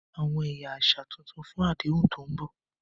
Àwọn ẹ̀yà àṣà tuntun fún àdéhùn tó ń bọ̀.